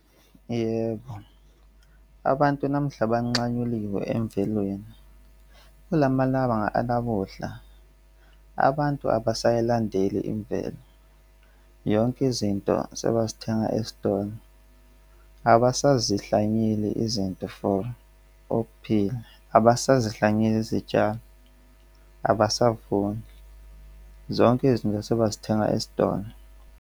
Yebo, abantu namuhla bancanyuliwe emvelweni kula malanga anamuhla. Abantu abasayilandeli imvelo, yonke izinto sebazithenga estolo abasazihlanyeli izinto for okuphila abasazihlanyeli izitshalo abasavuni zonke izinto sebazithenga esitolo.